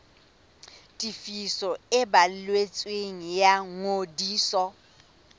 tefiso e balletsweng ya ngodiso